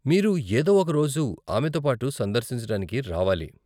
మీరు ఏదో ఒక రోజు ఆమెతోపాటు సందర్శించడానికి రావాలి.